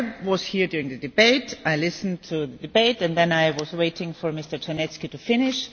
I was here during the debate, I listened to the debate, and then I was waiting for Mr Czarnecki to finish.